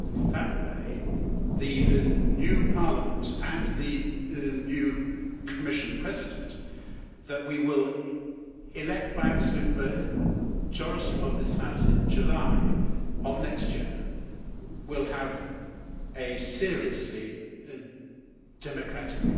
That way, the new Parliament and the new Commission President that we will elect by an absolute majority of this House in July of next year, will have a seriously democratic